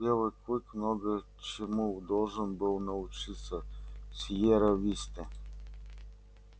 белый клык много чему должен был научиться в сиерра висте